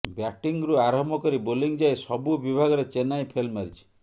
ବ୍ୟାଟିଂରୁ ଆରମ୍ଭ କରି ବୋଲିଂ ଯାଏଁ ସବୁ ବିଭାଗରେ ଚେନ୍ନାଇ ଫେଲ୍ ମାରିଛି